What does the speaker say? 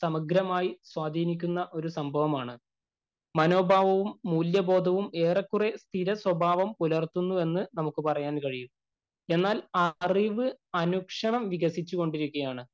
സമഗ്രമായി സ്വാധീനിക്കുന്ന ഒരു സംഭവമാണ്.മനോഭാവവും, മൂല്യബോധവും ഏറെക്കുറെ സ്ഥിരസ്വഭാവം പുലര്‍ത്തുന്നുവെന്ന് നമുക്ക് പറയാന്‍ കഴിയും.എന്നാല്‍ അറിവ് അനുക്ഷണം വികസിച്ചു കൊണ്ടിരിക്കുകയാണ്.